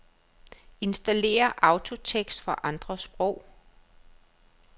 Installér autotekst for andre sprog.